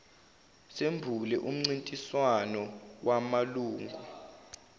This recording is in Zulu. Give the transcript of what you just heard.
sembule umcintiswano wamalungu